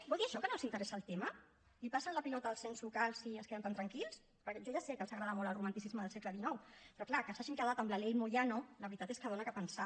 vol dir això que no els interessa el tema passen la pilota als ens locals i es queden tan tranquils perquè jo ja sé que els agrada molt el romanticisme del segle xix però clar que s’hagin quedat amb la ley moyano la veritat és que fa pensar